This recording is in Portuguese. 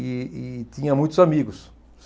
E e tinha muitos amigos.